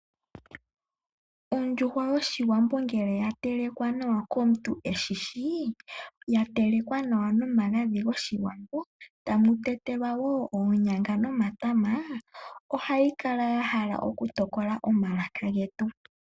Ondjuhwa yoshiwambo ngele ya telekwa nawa komuntu eshishsi, ya telekwa nawa nomagadhi goshiwambo tamu tetelwa woo oonyanga nomatama, ohayi kala ya hala oku yokola omalaka getu.